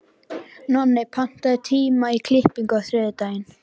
Nonni, pantaðu tíma í klippingu á þriðjudaginn.